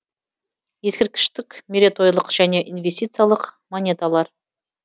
ескерткіштік мерейтойлық және инвестициялық монеталар